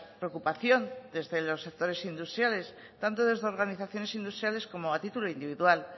preocupación desde los sectores industriales tanto desde organizaciones industriales como a título individual